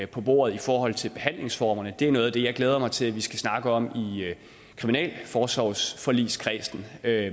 på bordet i forhold til behandlingsformerne det er noget af det jeg glæder mig til at vi skal snakke om i kriminalforsorgsforligskredsen det er